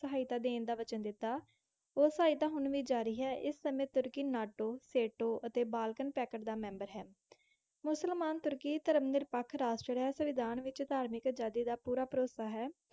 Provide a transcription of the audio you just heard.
ਸਹਾਇਤਾ ਦੇਣ ਦਾ ਵਚਨ ਦਿੱਤਾ। ਉਹ ਸਹਾਇਤਾ ਹੁਣ ਵੀ ਜਾਰੀ ਹੈ। ਇਸ ਸਮੇਂ ਤੁਰਕੀ ਨਾਟੋ, ਸੇਂਟੋ ਅਤੇ ਬਾਲਕਨ ਪੈਕਟ ਦਾ ਮੈਂਬਰ ਹੈ। ਮੁਸਲਮਾਨ - ਤੁਰਕੀ ਧਰਮ ਨਿਰਪੱਖ ਰਾਸ਼ਟਰ ਹੈ। ਸੰਵਿਧਾਨ ਵਿੱਚ ਧਾਰਮਿਕ ਅਜ਼ਾਦੀ ਦਾ ਪੂਰਾ ਭਰੋਸਾ ਹੈ।